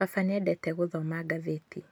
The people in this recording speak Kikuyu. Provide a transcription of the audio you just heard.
Baba nĩendete gũthoma ngathĩti